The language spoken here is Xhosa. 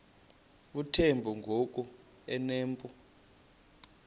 uthemba ngoku enompu